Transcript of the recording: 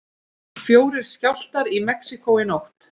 Fjórir skjálftar í Mexíkó í nótt